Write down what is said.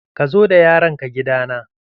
Ka zo da yaron ka gida na!